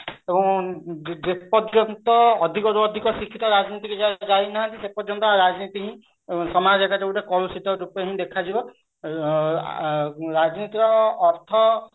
ତ ଯେ ପର୍ଯ୍ୟନ୍ତ ଅଧିକରୁ ଅଧିକ ଶିକ୍ଷିତ ରାଜନୀତି କୁ ଯାଇ ନାହାନ୍ତି ସେ ପର୍ଯ୍ୟନ୍ତ ରାଜନୀତି ସମାଜରେ ଗୋଟେ କଳୁଷିତ ରୂପେ ହିଁ ଦେଖାଯିବ ଆଉ ଆଁ ରାଜନୈତିକ ଅର୍ଥ ଭିନ୍ନ